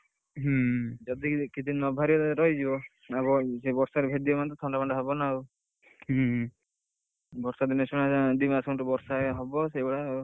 ଯଦି କିଛି ନ ବାହାରି ରହିଯିବ ଆଉ ସେ ବର୍ଷା ରେ ଭେଦିବ ମାନେ ଥଣ୍ଡା ଫଣ୍ଡହବ ନାଊ, ବର୍ଷା ଦିନ ସେ ଦି ମାସ ଖଣ୍ଡେ ବର୍ଷା ହବ ସେଇ ଭଳିଆ ଆଉ।